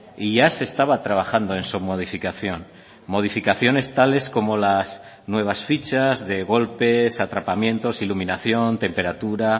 y ya se estaba trabajando en su modificación modificaciones tales como las nuevas fichas de golpes atrapamientos iluminación temperatura